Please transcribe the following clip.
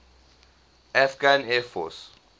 afghan air force